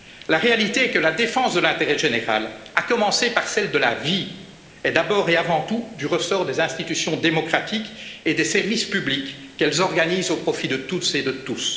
a la vie dure. La réalité est que la défense de l'intérêt général, à commencer par celle de la vie, est, d'abord et avant tout, du ressort des institutions démocratiques et des services publics qu'elles organisent au profit de toutes